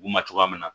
U ma cogoya min na